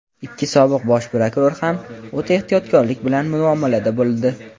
ikki sobiq Bosh prokuror ham o‘ta ehtiyotkorlik bilan muomalada bo‘ldi.